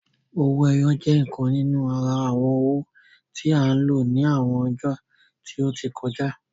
Owó ẹyọ je ìkan nínú àrà awọn owó tí a n ló ní àwọn ọjó tí o tí kọjá